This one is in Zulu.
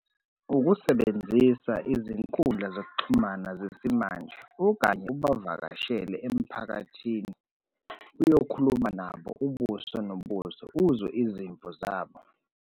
Ukusebenzisa izinkundla zokuxhumana zesimanje okanye ubavakashele emphakathini, uyokhuluma nabo, ubuso nobuso, uzwe izimvo zabo.